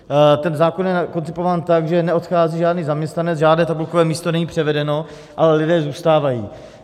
Ten zákon je koncipován tak, že neodchází žádný zaměstnanec, žádné tabulkové místo není převedeno, ale lidé zůstávají.